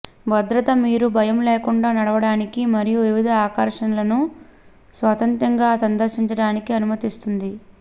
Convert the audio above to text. భద్రత మీరు భయం లేకుండా నడవడానికి మరియు వివిధ ఆకర్షణలను స్వతంత్రంగా సందర్శించడానికి అనుమతిస్తుంది